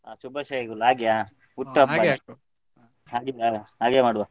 ಹಾ ಶುಭಾಶಯಗಳು ಹಾಗೆಯ ಹಾಗೆಯ ಹಾಗೆ ಮಾಡುವ.